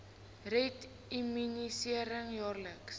red immunisering jaarliks